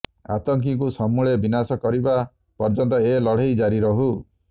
ଆତଙ୍କୀଙ୍କୁ ସମୂଳେ ବିନାଶ କରିବା ପର୍ଯ୍ୟନ୍ତ ଏ ଲଢ଼େଇ ଜାରି ରହୁ